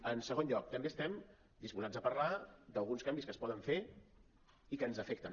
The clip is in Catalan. en segon lloc també estem disposats a parlar d’alguns canvis que es poden fer i que ens afecten